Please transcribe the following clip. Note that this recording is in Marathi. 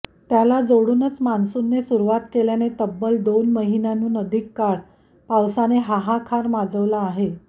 त्याला जोडूनच मान्सूनने सुरूवात केल्याने तब्बल दोन महिन्याहून अधिक काळ पावसाने हाहाकार माजवला आहे